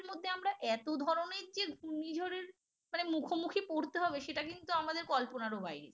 আমরা এত ধরনের যে ঘূর্ণিঝড়ের মানে মুখোমুখি পড়তে হবে সেটা কিন্তু আমাদের কল্পনারও বাইরে ছিল